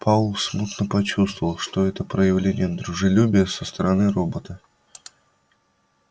пауэлл смутно почувствовал что это проявление дружелюбия со стороны робота